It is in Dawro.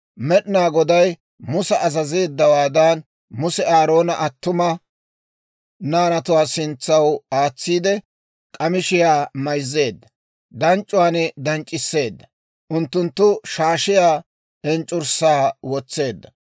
Med'inaa Goday Musa azazeeddawaadan, Muse Aaroona attuma naanatuwaa sintsaw aatsiide, k'amishiyaa mayzzeedda; danc'c'uwaan danc'c'isseedda. Unttunttu shaashiyaa enc'c'urssaa wotseedda.